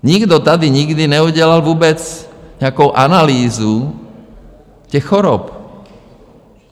Nikdo tady nikdy neudělal vůbec nějakou analýzu těch chorob.